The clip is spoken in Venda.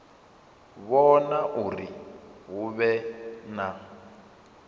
vhona uri hu vhe na